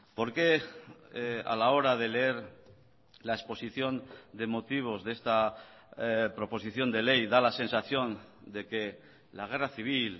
por qué a la hora de leer la exposición de motivos de esta proposición de ley da la sensación de que la guerra civil